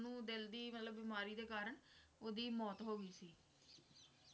ਓਹਨੂੰ ਦਿਲ ਦੀ ਮਤਲਬ ਬਿਮਾਰੀ ਦੇ ਕਾਰਣ ਓਹਦੀ ਮੌਤ ਹੋ ਗਈ ਸੀ